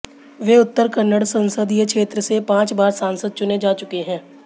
वे उत्तर कन्नड़ संसदीय क्षेत्र से पांच बार सांसद चुने जा चुके हैं